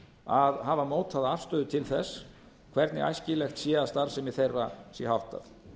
að hafa mótað afstöðu til þess hvernig æskilegt sé að starfsemi þeirra sé háttað